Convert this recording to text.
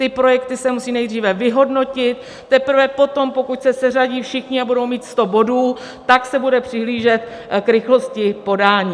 Ty projekty se musí nejdříve vyhodnotit, teprve potom, pokud se seřadí všichni a budou mít sto bodů, tak se bude přihlížet k rychlosti podání.